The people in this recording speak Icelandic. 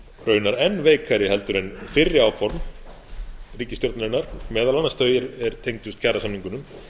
raunar enn veikari heldur en fyrri áform ríkisstjórnarinnar meðal annars þau er tengdust kjarasamningunum